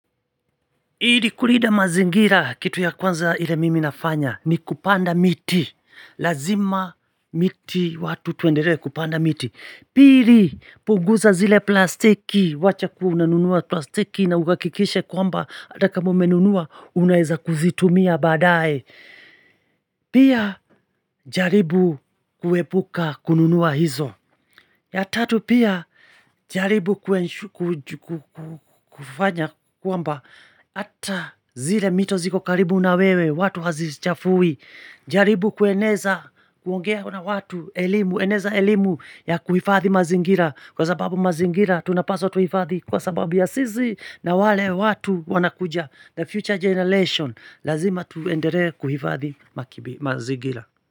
Ili kulinda mazingira kitu ya kwanza ile mimi nafanya ni kupanda miti. Lazima miti watu tuendelee kupanda miti. Pili punguza zile plastiki, wacha kua unanunua plastiki na uhakikishe kwamba atakama umenunua unaeza kuzitumia baadae. Pia jaribu kuepuka kununua hizo. Ya tatu pia jaribu kufanya kwamba Hata zile mito ziko karibu na wewe watu hazichafui jaribu kueneza kuongea na watu, elimu Eneza elimu ya kuhifadhi mazingira Kwa sababu mazingira tunapaswa tuhifadhi Kwa sababu ya sisi na wale watu wanakuja The future generation Lazima tuendelee kuhifadhi mazingira.